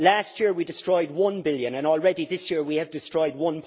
Last year we destroyed EUR 1 billion and already this year we have destroyed EUR